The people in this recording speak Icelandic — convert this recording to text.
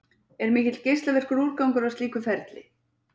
Er mikill geislavirkur úrgangur af slíku ferli?